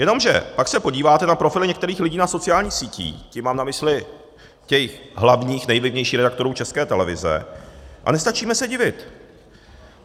Jenomže pak se podíváte na profily některých lidí na sociálních sítích, tím mám na mysli těch hlavních, nejvlivnějších redaktorů České televize, a nestačíme se divit.